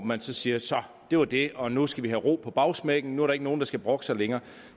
man siger så det var det og nu skal vi have ro på bagsmækken nu er der ikke nogen der skal brokke sig længere